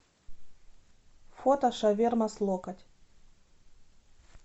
фото шаверма с локоть